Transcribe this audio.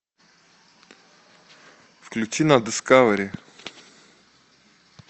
включи на дискавери